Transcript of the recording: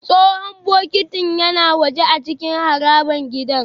Tsohon bokitin yana waje a cikin harabar gidan